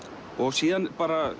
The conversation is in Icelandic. síðan